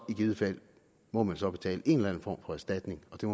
givet fald må man så betale en eller anden for erstatning der